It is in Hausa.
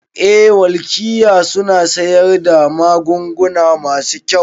Eh welkiya suna siyar da magunguna masu kyau